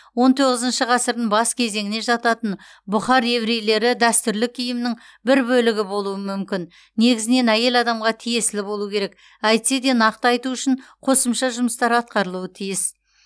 он тоғызыншы ғасыр бас кезеңіне жататын бұхар еврейлері дәстүрлі киімінің бір бөлігі болуы мүмкін негізінен әйел адамға тиесілі болуы керек әйтсе де нақты айту үшін қосымша жұмыстар атқарылуы тиіс